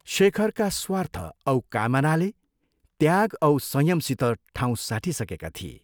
शेखरका स्वार्थ औ कामनाले त्याग औ संयमसित ठाउँ साटिसकेका थिए।